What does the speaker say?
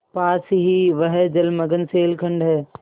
पास ही वह जलमग्न शैलखंड है